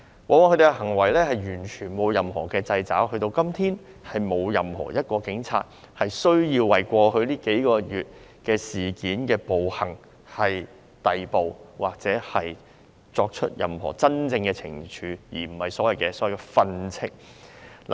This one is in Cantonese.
他們的行為在過往完全沒有受到任何掣肘，直至今天，也沒有任何一名警員因為過往數個月的事件和暴行而被逮捕或接受任何真正懲處，而並非所謂的"訓斥"。